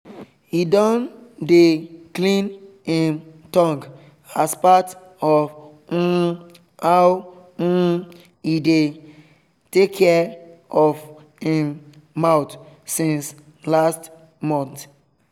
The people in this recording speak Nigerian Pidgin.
he don dey clean him tongue as part of um how um e dey takia of him mouth since last month um